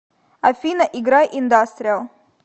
афина играй индастриал